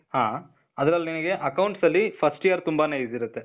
ಹಾ. ಅದ್ರಲ್ ನಿನಿಗೆ accounts ಅಲ್ಲಿ first year ತುಂಬಾನೆ easy ಇರತ್ತೆ.